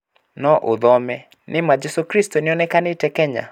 No ũthome:Nĩ ma 'Jesu kristo 'nĩonĩkanĩte Kenya?